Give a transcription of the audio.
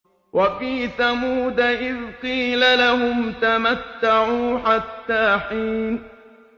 وَفِي ثَمُودَ إِذْ قِيلَ لَهُمْ تَمَتَّعُوا حَتَّىٰ حِينٍ